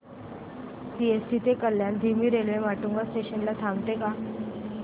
CST ते कल्याण धीमी railway Matunga station ला थांबते का